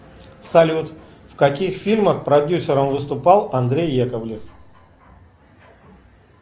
салют в каких фильмах продюсером выступал андрей яковлев